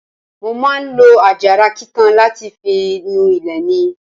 Mo máa ń lo àjàrà kíkan láti fi nu ilé mi.